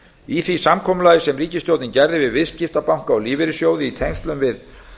í því samkomulagi sem ríkisstjórnin gerði við viðskiptabanka og lífeyrissjóði í tengslum við